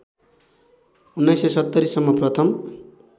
१९७० सम्म प्रथम